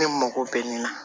Ne mako bɛ ni